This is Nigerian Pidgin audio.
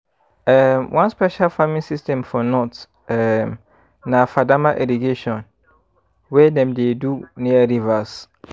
um one special farming system for north um na fadama irrigation wey dem dey do near rivers